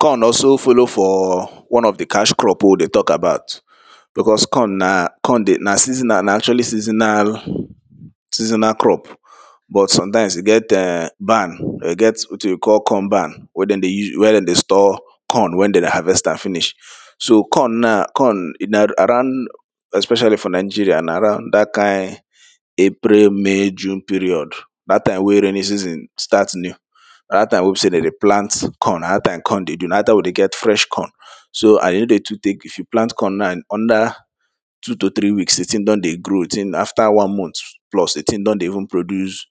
corn also follow for, one of the cash crop wey we dey tok about because corn na, corn dey, na seasonal, na actually seasonal, seasonal crop, but sometimes e get um barn e get wetin we call, corn barn, wey de dey use, wey de dey store, corn when de dey harvest am finish. so corn na, corn, na around, especially for nigeria na around dat kind, april, may, june period, dat time wey rainy season start new, na dat time wey be sey de dey plant corn, na dat time corn de dey, na dat time we dey get fresh corn. so i yo dey too tek, if you plant corn na under, two to three weeks the ting don dey grow, the ting after one month plus the ting don dey even produce,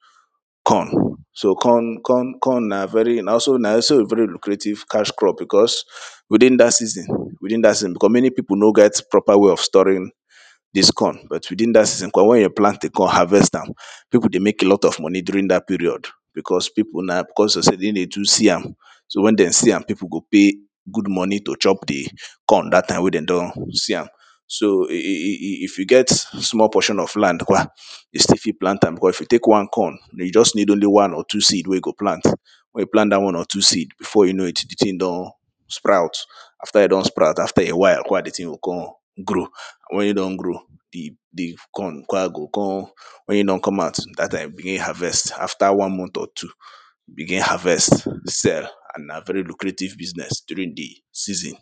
corn. so corn, corn, corn na very, na also, na also a very lucrative cash crop because, within dat season, within dat season, because many pipo no get proper way of storing dis corn, but within dat season, because when you plant a corn, harvest am, pipo dey mek lot of money during dat period, because pipo na, cos of sey in dey too see am. so when den see am, pipo go pay, good money to chop the, corn dat time wey de don see am. so e e e e if you get small portion of land kwa, you still fit plant am, because if you tek one corn, you just need only one or two seed wey you go plant, when you plant dat one or two seed, before you know it the ting don, sprout. after e don sprout, after a while kwa the ting go con grow. when e don grow, the the corn kwa go con, when in don come out, dat time you begin harvest after one month or two. begin harvest, sell, and na very lucrative business during di season.